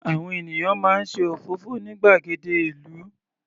Àwọn ènìyàn máa ń ṣe òfófó ní gbàgede ìlú.